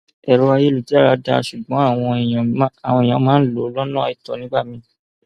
èrò ayélujára dáa ṣùgbọn àwọn èèyàn máa ń lò lọnà àìtọ nígbà míín